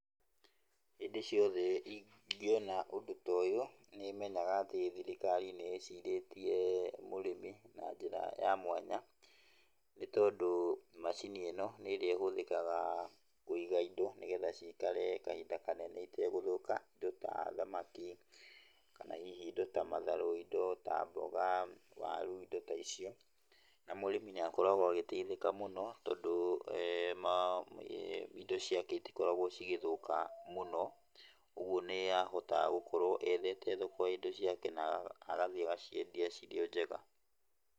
Hĩndĩ ciothe ingiona ũndũ ta ũyũ, nĩmenyaga atĩ thirikari nĩ ĩcirĩtie mũrĩmi na njĩra ya mwanya nĩ tondũ macini ĩno nĩ ĩrĩa ĩhũthĩkaga kũiga indo nĩ getha cikare kahinda kanene itegũthũka, indo ta thamaki kana hihi indo ta matharũ, indo ta mboga, waru, indo ta icio na mũrĩmi nĩ akoragwo agĩteithĩka mũno tondũ indo ciake itikoragwo igĩthũka, ũguo nĩ ahotaga gũkorwo ethete thoko ya indo ciake na agathiĩ agaciendia irĩ o njega.